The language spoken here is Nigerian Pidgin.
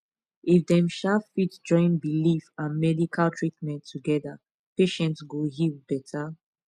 if dem um fit join belief and medical treatment together patient go heal better